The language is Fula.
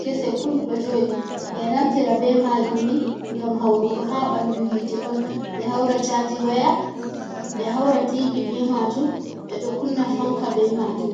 kese pul do jodi ,be donaftira be majum ni gam haurugo ha bandu hite on be hauracaji waya be haura tv be majum be do kunna fanka be majum.